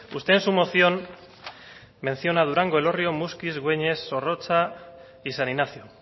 usted en su moción menciona durango elorrio muskiz güeñes zorrotza y san ignacio